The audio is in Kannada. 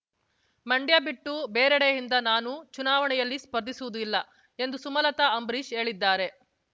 ಮಂಡ್ಯ ಬಿಟ್ಟು ಬೇರೆಡೆಯಿಂದ ನಾನು ಚುನಾವಣೆಯಲ್ಲಿ ಸ್ಪರ್ಧಿಸುವುದಿಲ್ಲ ಎಂದು ಸುಮಲತಾ ಅಂಬರೀಶ್ ಹೇಳಿದ್ದಾರೆ